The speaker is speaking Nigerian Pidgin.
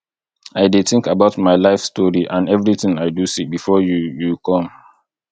i dey think about my life story and everything i do see before you you come